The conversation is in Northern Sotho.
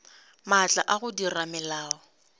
maatla a go dira melao